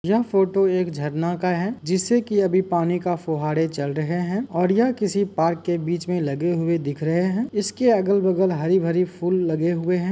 यह फोटो एक झरने का है जिस से कि अभी पानी का फुहारे चल रहे हैं और यह किसी पार्क के बीच में लगे हुए दिख रहे हैं। इसके अगल बगल हरी -भरी फूल लगे हुए हैं।